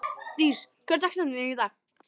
Dís, hver er dagsetningin í dag?